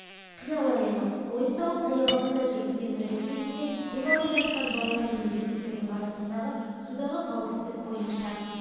қиял әлемі ойын-сауқ саябағында жүргізген рейд кезінде демалып жатқан балалар мен ересектердің арасында судағы қауіпсіздік бойынша